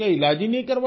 इलाज ही नहीं कराया